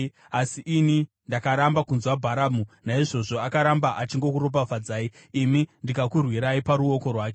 Asi ini ndakaramba kunzwa Bharamu, naizvozvo akaramba achingokuropafadzai, ini ndikakurwirai paruoko rwake.